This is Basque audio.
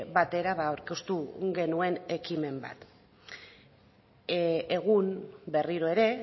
batera aurkeztu genuen ekimen bat egun berriro ere